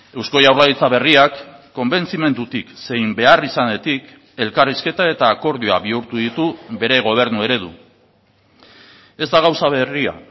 eusko jaurlaritza berriak konbentzimendutik zein beharrizanetik elkarrizketa eta akordioa bihurtu ditu bere gobernu eredu ez da gauza berria